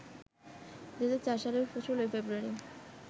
২০০৪ সালের ১৬ ফেব্রুয়ারি